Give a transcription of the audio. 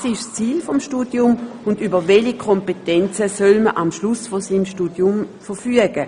Was ist das Ziel des Studiums, und über welche Kompetenzen soll man am Ende des Studiums verfügen?